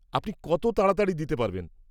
আপনি কত তাড়াতাড়ি দিতে পারবেন?